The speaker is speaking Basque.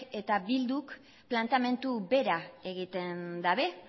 eta bilduk planteamendu bera egiten dute